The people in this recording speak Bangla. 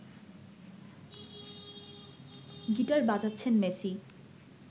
গিটার বাজাচ্ছেন মেসি